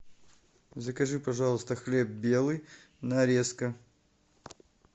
закажи пожалуйста хлеб белый нарезка